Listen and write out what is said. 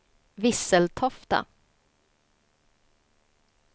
Visseltofta